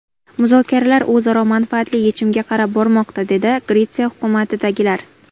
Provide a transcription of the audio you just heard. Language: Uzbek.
Muzokaralar o‘zaro manfaatli yechimga qarab bormoqda”, dedi Gretsiya hukumatidagilar.